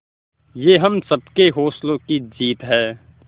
ये हम सबके हौसलों की जीत है